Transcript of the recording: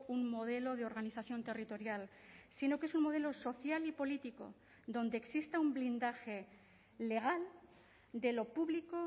un modelo de organización territorial sino que es un modelo social y político donde exista un blindaje legal de lo público